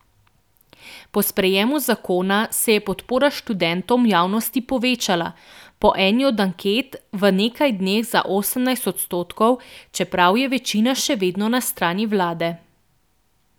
Po sprejemu zakona se je podpora študentom v javnosti povečala, po eni od anket v nekaj dneh za osemnajst odstotkov, čeprav je večina še vedno na strani vlade.